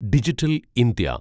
digital India